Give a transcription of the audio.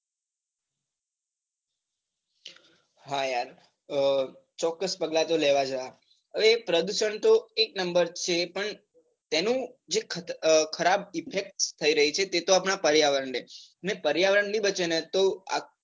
હા યાર ચોક્કસ પગલાં તો લેવા જોઈએ. હવે પ્રદુશન તો એક number છે, પણ તેનું જે ખરાબ effect થઇ રહી છે, તેતો આપણા પર્યાવરણને અને પર્યાવરણ નઈ બચેન તો.